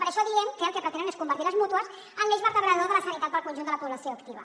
per això diem que el que pretenen és convertir les mútues en l’eix vertebrador de la sanitat per al conjunt de la població activa